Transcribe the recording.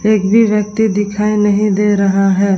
एक भी व्यक्ति दिखाई नहीं दे रहा है।